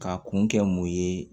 K'a kun kɛ mun ye